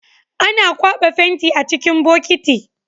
Ana kwaba fenti a cikin bokiti